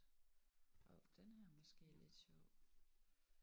Hov den her er måske lidt sjov